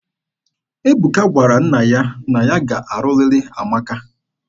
Ebuka gwara nna ya na ya ga-alụrịrị Amaka.